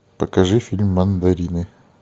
покажи фильм мандарины